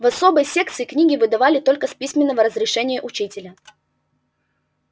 в особой секции книги выдавали только с письменного разрешения учителя